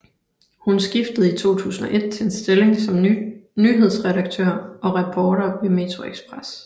Hun skiftede i 2001 til en stilling som nyhedsredaktør og reporter ved metroXpress